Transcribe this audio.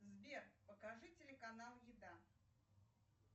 сбер покажи телеканал еда